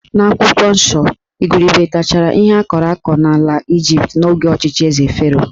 N'akwụkwọ nsọ, igurube tachara ihe akọrọ akọ n'ala Ịjipt n'oge ọchịchị Eze Fero